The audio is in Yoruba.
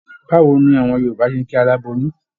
Báwo ni àwọn Yorùbá ṣe ń kí aláboyún?